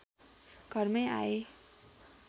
घरमै आए